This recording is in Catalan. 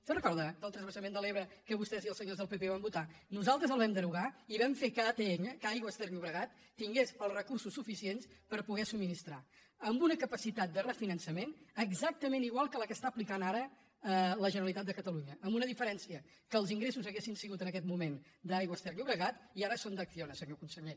se’n recorda del transvasament de l’ebre que vostès i els senyors del pp van votar nosaltres el vam derogar i vam fer que atll que aigües ter llobregat tingués els recursos suficients per poder subministrar amb una capacitat de refinançament exactament igual que la que està aplicant ara la generalitat de catalunya amb una diferència que els ingressos haurien sigut en aquest moment d’aigües ter llobregat i ara són d’acciona senyor conseller